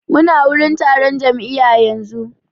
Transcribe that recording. Mu na wurin taron jam'iya yanzu